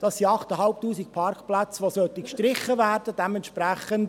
Das sind 8500 Parkplätze, die gestrichen werden sollen.